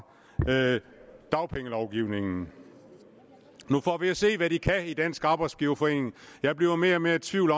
dagpengelovgivningen nu får vi at se hvad de kan i dansk arbejdsgiverforening jeg bliver mere og mere i tvivl